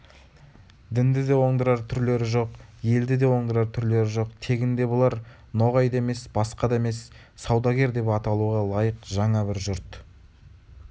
дінді де оңдырар түрлері жоқ елді де оңдырар түрлері жоқ тегінде бұлар ноғай да емес басқа да емес саудагер деп аталуға лайық жаңа бір жұрт